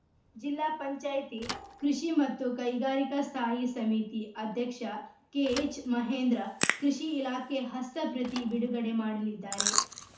ಜಿಲ್ಲಾ ಪಂಚಾಯ್ತಿ ಕೃಷಿ ಮತ್ತು ಕೈಗಾರಿಕಾ ಸ್ಥಾಯಿ ಸಮಿತಿ ಅಧ್ಯಕ್ಷ ಕೆಎಚ್‌ ಮಹೇಂದ್ರ ಕೃಷಿ ಇಲಾಖೆ ಹಸ್ತ ಪ್ರತಿ ಬಿಡುಗಡೆ ಮಾಡಲಿದ್ದಾರೆ